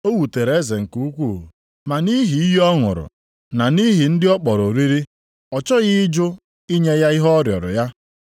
O wutere eze nke ukwuu, ma nʼihi iyi ọ ṅụrụ, na nʼihi ndị ọ kpọrọ oriri, ọ chọghị ịjụ inye ya ihe ọ rịọrọ ya.